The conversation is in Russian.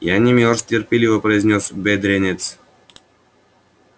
я не мёртв терпеливо произнёс бедренец